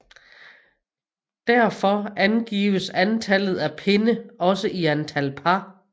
Derfor angives antalles af pinde også i antal par